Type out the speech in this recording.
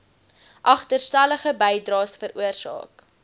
agterstallige bydraes veroorsaak